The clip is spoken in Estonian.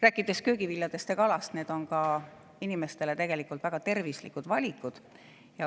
Rääkides köögiviljast ja kalast, siis need on inimestele väga tervislikud valikud.